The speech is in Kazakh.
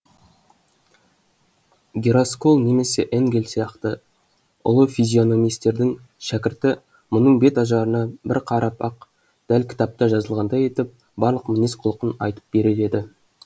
гераскол немесе энгель сияқты ұлы физиономистердің шәкірті мұның бет ажарына бір қарап ақ дәл кітапта жазылғандай етіп барлық мінез құлқын айтып берер еді